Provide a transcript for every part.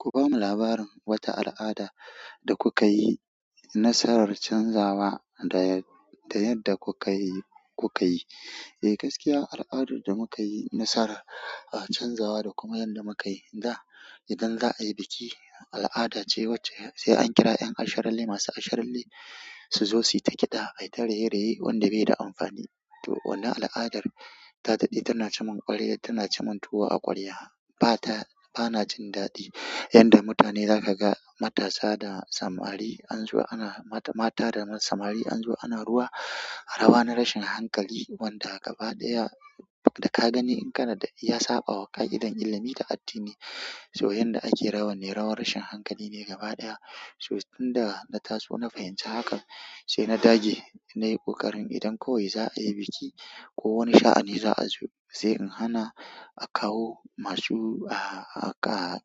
Ku bamu labarin wata al'ada da kuka yi nasarar canzawa da, da yadda kuka yi, kuka yi. Eh, gaskiya al'adar da muka yi nasara a canzawa da kuma yadda muka yi da idan za a yi biki al'ada ce wacce sai an kira 'yan asharalle masu asharalle su zo su yi ta kiɗa, ai ta raye-raye wanda bai da amfani. To wannan al'adar ta daɗe tana ci mun kwaliya, tana ci mun tuwo a kwaliya. Ba ta, ba na jin daɗi yanda mutane zaka ga matasa da samari an zo ana mata, mata da samari an zo ana ruwa, rawa na rashin hankali wanda gaba ɗaya da ka gani in kana ya saɓawa ka idon ilimi da addini. To yanda ake rawan ne rawar rashin hankali ne gaba ɗaya. To tun da na taso na fahimci hakan sai na dage nayi ƙoƙarin idan kawai za a yi biki ko wani sha'ani za a zo sai in hana akawo masu a, a, a,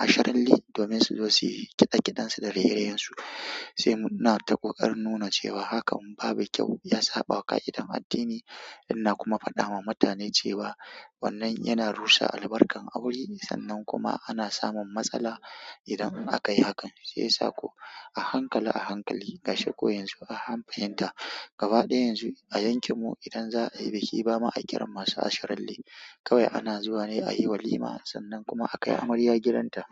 asharalle domin su zo su yi kiɗa kiɗan su da raye-rayen su. Sai muna ta ƙoƙarin nuna cewa hakan babu kyau ya saɓawa ka idon addini. Ina kuma faɗa ma mutane cewa wannan yana rusa albarkar aure sannan kuma ana samun matsala idan aka yi hakan. Sai ya sako a hankali a hankali gashin ko yanzu an fahimta gaba ɗaya yanzu a yankin mu idan za a yi biki bama a kira masu asharalle. Kawai ana zuwa ne a yi walima sannan kuma akai amarya gidanta.